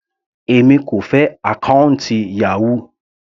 Èmi kò fẹ́ àkọ́ùntì Yahoo.